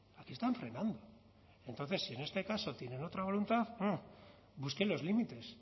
aquí están frenando entonces si en este caso tienen otra voluntad busquen los límites